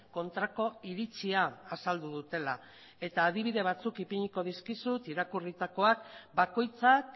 kontrako iritzia azaldu dutela eta adibide batzuk ipiniko dizkizut irakurritakoa bakoitzak